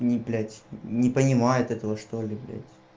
ни блять не понимает этого что ли